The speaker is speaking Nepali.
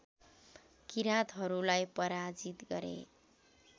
किराँतहरूलाई पराजित गरे